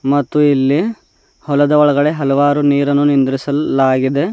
ಮತ್ತು ಇಲ್ಲಿ ಹೊಲದ ಒಳಗಡೆ ಹಲವಾರು ನೀರನ್ನು ನಿಂದ್ರಿಸಲಾಗಿದೆ.